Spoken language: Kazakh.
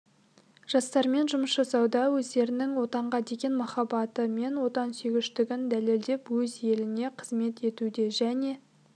жастармен жұмыс жасауда өздерінің отанға деген махаббаты мен отансүйгіштігін дәлелдеп өз еліне қызмет етуде және